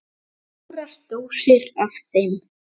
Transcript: Stórar dósir af þeim.